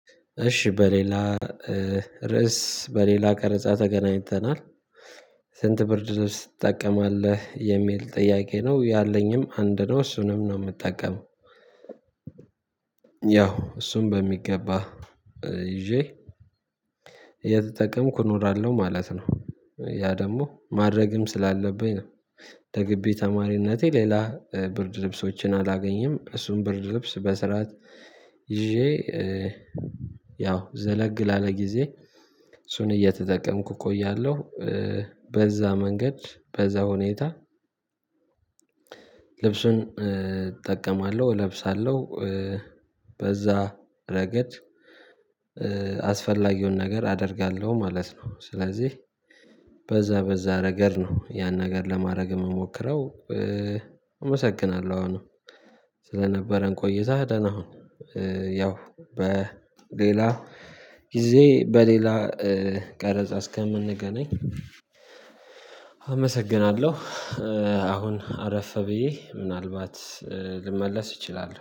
እሺ በሌላ ርዕስ በሌላ ቀርጻ ተገናኝተናል። ስንት ብርድ ልብሶ ትጠቀማለህ? የሚል ጥያቄ ነው ያለኝም አንድ ነው እሱንም ነው የምጠቀመው ያው እሱን በሚገባ ይዤ እየተጠቀምኩ እኖራለሁ ማለት ነው። ያ ደግሞ ማድረግም ስላለብኝ ነው። ተገቢ ተማሪነቴ ሌላ ብርድ ልብሶችን አላገኘም እሱን ብርድ ልብስ በስርዓት ይዤ ያው ዘለግ ላለ ጊዜ እሱን እየተጠቀምኩ እቆያለሁ። በዛ መንገድ በዛ ሁኔታ ልብሱን እጠቀማለሁ እለብሳለሁ በዛ ረገድ አስፈላጊውን ነገር አደርጋለሁ ማለት ነው ስለዚህ በዛ በዛ ነገር ነው ያን ነገር ለማድረግ የምሞክረው። አመሰግናለሁ አሁን ስለነበረን ቆይተህ ደህና ሁን። ያው በሌላ ጊዜ በሌላ ቀረጻ እስከምንገናኝ። አመሰግናለሁ አሁን አረፈ ብዬ ምናልባት ልመለስ እችላለሁ።